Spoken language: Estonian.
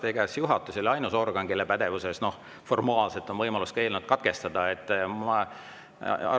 Ega siis juhatus ei ole ainus organ, kelle pädevuses on formaalselt võimalus eelnõu katkestada.